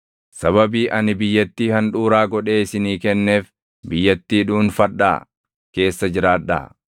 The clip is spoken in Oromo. Sababii ani biyyattii handhuuraa godhee isinii kenneef, biyyattii dhuunfadhaa keessa jiraadhaa.